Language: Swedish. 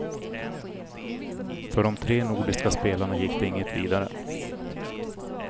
För de tre nordiska spelarna gick det inget vidare.